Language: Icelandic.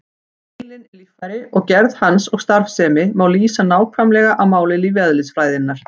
Heilinn er líffæri og gerð hans og starfsemi má lýsa nákvæmlega á máli lífeðlisfræðinnar.